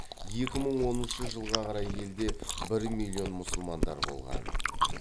екі мың оныншы жылға қарай елде бір миллион мұсылмандар болған